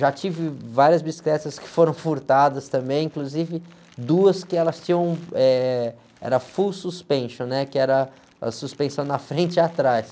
Já tive várias bicicletas que foram furtadas também, inclusive duas que elas tinham, eh, era full suspension, né? Que era a suspensão na frente e atrás.